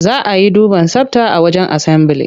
Za a yi duban tsabta a wajen asambili.